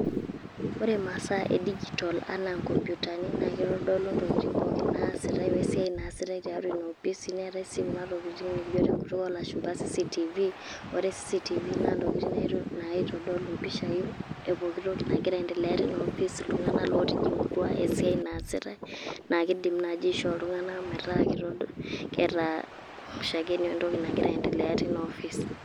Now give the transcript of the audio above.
Ore masaa edijito anaa nkompitani, na kitodolu intokiting' pookin naasitai we siai naasita tiatua inoopisi, neetae si kuna tokiting' nikijo tenkutuk olashumpa CCTV. Ore CCTV na ntokiting' naitodolu impishai epooki toki nagira aiendelea teina opis. Iltung'anak lotijing'utua, esiai naasitai, na kiidim nai aishoo Iltung'anak metaa keeta shakenu entoki nagira aiendelea teina ofis.